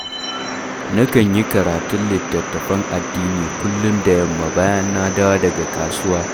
Nakan yi karatun littattafan addini kullum da yamma bayan na dawo daga kasuwa